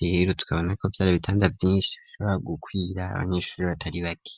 rero tukabona ko byari bitanda byinshi bishobra gukwira abanyeshuri batari bake.